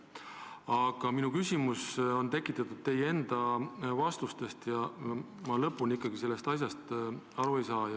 Aga minu küsimus on ajendatud teie enda vastustest, ma lõpuni ikkagi sellest asjast aru ei saa.